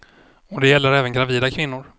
Och det gäller även gravida kvinnor.